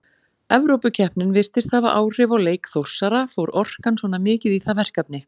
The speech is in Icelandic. Evrópukeppnin virtist hafa áhrif á leik Þórsara, fór orkan svona mikið í það verkefni?